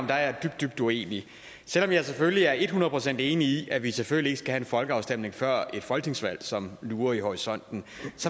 jeg er dybt dybt uenig selv om jeg selvfølgelig er et hundrede procent enig i at vi selvfølgelig ikke skal have folkeafstemning før et folketingsvalg som lurer i horisonten